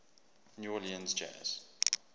new orleans jazz